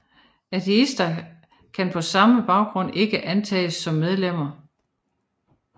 Ateister kan på denne baggrund ikke antages som medlemmer